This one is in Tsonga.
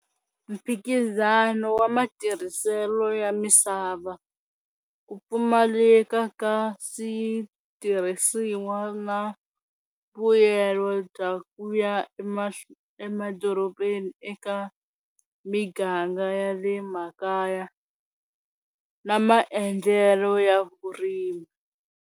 Mphikizano wa matirhiselo ya misava ku pfumaleka ka switirhisiwa na mbuyelo dya ku ya emadorobeni eka miganga ya le makaya na maendlelo ya vurimi.